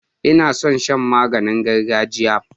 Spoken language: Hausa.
Ina son shan maganin gargajiya.